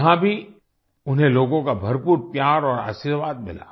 यहाँभी उन्हें लोगों का भरपूर प्यार और आशीर्वाद मिला